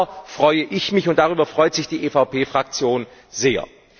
Und darüber freue ich mich, und darüber freut sich die EVP Fraktion sehr.